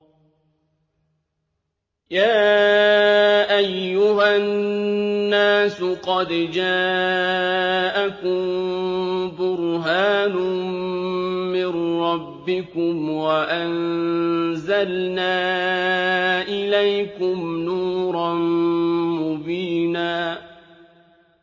يَا أَيُّهَا النَّاسُ قَدْ جَاءَكُم بُرْهَانٌ مِّن رَّبِّكُمْ وَأَنزَلْنَا إِلَيْكُمْ نُورًا مُّبِينًا